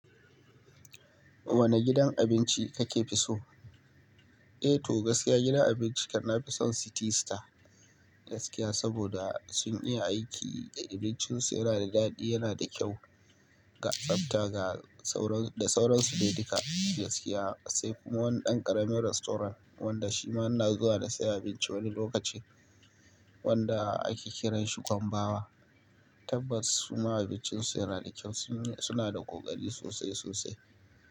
Wane gidan abinci kake fi so? Eh to gaskiya gidan abinci kana fi son City Star gaskiya saboda sun iya aiki, abincin su yana da daɗi, yana da kyau, ga tsafta da sauran su dai duka gaskiya. Sai kuma wani ɗan ƙarami rastorant wanda shi ma na zuwa na saya abinci wani lokaci wanda ake kiranshi Kwambawa Tabbas kuma abincin su yana da kyau. Suna da ƙokari sosai sosai.